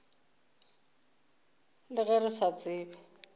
le ge re sa tsebe